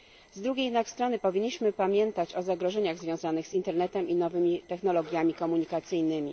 Z drugiej jednak strony powinniśmy pamiętać o zagrożeniach związanych z internetem i nowymi technologiami komunikacyjnymi.